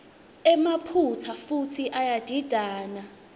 emaphutsa futsi iyadidana